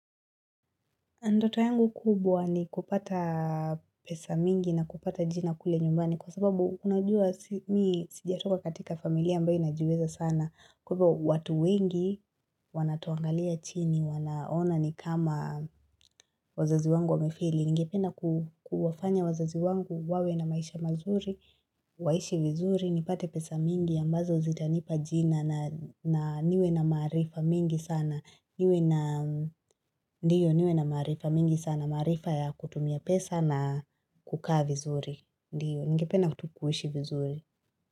Ndoto yangu kubwa ni kupata pesa mingi na kupata jina kule nyumbani kwa sababu unajua mimi sijatoka katika familia ambayo inajiweza sana. Kwa hivo watu wengi wanatuangalia chini, wanaona ni kama wazazi wangu wa mifili. Ningependa kuwafanya wazazi wangu wawe na maisha mazuri, waishi vizuri, nipate pesa mingi ambazo zitanipa jina na niwe na maarifa mingi sana. Ndio niwe na maarifa mingi sana maarifa ya kutumia pesa na kukaa vizuri Ndiyo ningepena tu kuishi vizuri.